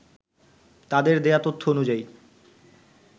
তাদের দেয়া তথ্য অনুযায়ী